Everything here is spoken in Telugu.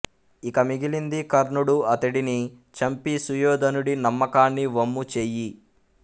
ఇక మిగిలింది కర్ణుడు అతడిని చంపి సుయోధనుడి నమ్మకాన్ని వమ్ము చెయ్యి